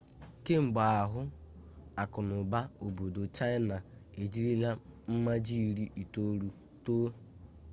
kemgbe ahụ akụnụba obodo chaịna ejirila mmaji iri itolu too